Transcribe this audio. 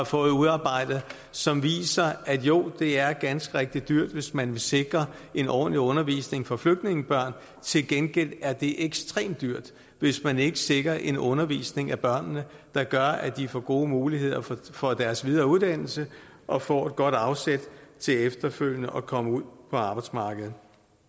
fået udarbejdet som viser at jo det er ganske rigtigt dyrt hvis man vil sikre en ordentlig undervisning for flygtningebørn til gengæld er det ekstremt dyrt hvis man ikke sikrer en undervisning af børnene der gør at de får gode muligheder for deres videre uddannelse og får et godt afsæt til efterfølgende at komme ud på arbejdsmarkedet